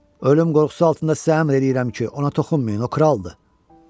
Ölüm qorxusu altında səlam eləyirəm ki, ona toxunmayın, o kraldır.